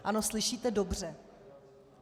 Ano, slyšíte dobře.